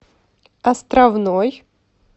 островной